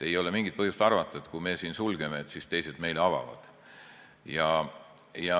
Ei ole mingit põhjust arvata, et kui meie piirid sulgeme, siis teised meile avavad.